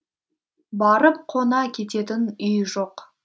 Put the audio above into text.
барып қона кететін үй жоқ